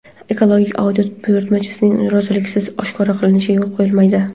ekologik audit buyurtmachisining roziligisiz oshkor qilinishiga yo‘l qo‘yilmaydi.